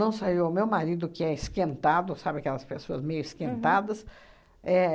Não saiu o meu marido, que é esquentado, sabe aquelas pessoas meio esquentadas. É